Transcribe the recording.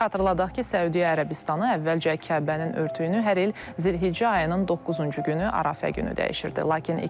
Xatırladaq ki, Səudiyyə Ərəbistanı əvvəlcə Kəbənin örtüyünü hər il Zilhiccə ayının 9-cu günü Ərəfə günü dəyişirdi.